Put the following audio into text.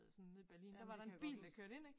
Sådan nede i Berlin der var der en bil der kørte ind ik